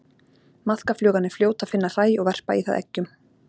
Maðkaflugan er fljót að finna hræ og verpa í það eggjum.